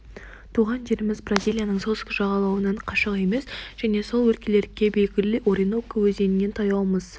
тұрған жеріміз бразилияның солтүстік жағалауынан қашық емес және сол өлкелерге белгілі ориноко өзеніне таяумыз